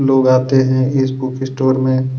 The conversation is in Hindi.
लोग आते हैं इस बुक स्टोर में --